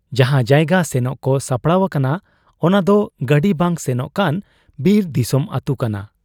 ᱡᱟᱦᱟᱸ ᱡᱟᱭᱜᱟ ᱥᱮᱱᱚᱜ ᱠᱚ ᱥᱟᱯᱲᱟᱣ ᱟᱠᱟᱱᱟ ᱚᱱᱟᱫᱚ ᱜᱟᱹᱰᱤ ᱵᱟᱝ ᱥᱮᱱᱚᱜ ᱠᱟᱱ ᱵᱤᱨ ᱫᱤᱥᱚᱢ ᱟᱹᱛᱩ ᱠᱟᱱᱟ ᱾